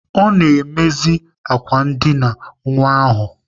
Ọ na-emezi ákwà ndịna nwa ahụ.